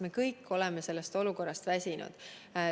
Me kõik oleme sellest olukorrast väsinud.